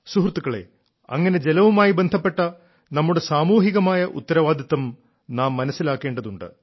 സുഹൃത്തുക്കളേ അങ്ങനെ ജലവുമായി ബന്ധപ്പെട്ട നമ്മുടെ സാമൂഹികമായ ഉത്തരവാദിത്തം നാം മനസ്സിലാക്കേണ്ടതുണ്ട്